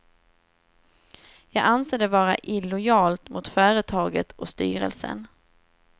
Jag anser det vara illojalt mot företaget och styrelsen.